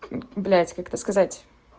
блядь как это сказать